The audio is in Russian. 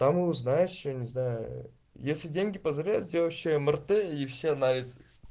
там и узнаешь что не знаю если деньги позволяют сделаешь ещё мрт и все анализы